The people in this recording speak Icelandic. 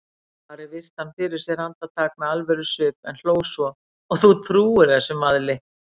Ari virti hann fyrir sér andartak með alvörusvip en hló svo,-og þú trúir þessum vaðli?